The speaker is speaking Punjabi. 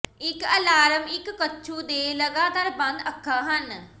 ਇੱਕ ਅਲਾਰਮ ਇੱਕ ਕੱਛੂ ਦੇ ਲਗਾਤਾਰ ਬੰਦ ਅੱਖਾਂ ਹਨ